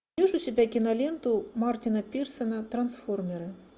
найдешь у себя киноленту мартина пирсона трансформеры